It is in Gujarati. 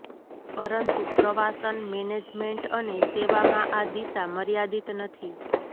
પરંતુ પ્રવાસન મેનેજમેન્ટ અને સેવામાં આ દિશા મર્યાદિત નથી